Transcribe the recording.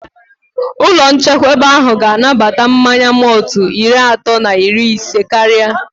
Ụlọ nchekwaba ahụ ga anabata mmanya mọltụ iri atọ na iri isé karịa